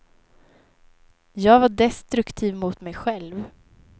Jag var destruktiv mot mig själv.